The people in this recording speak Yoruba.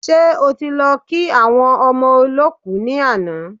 Ṣe ẹ ti lọ kí àwọn ọmọ olọ́kù ni àná?